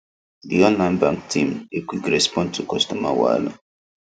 the online bank team dey quick respond to customer wahala